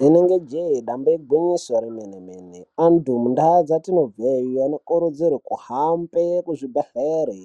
Rinenge jeee damba igwinyiso remene mene antu mundau dzatinobva iyo anokurudzirwa kuhambe kuzvibhedhlera